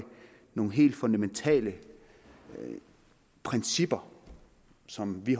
nogle helt fundamentale principper som vi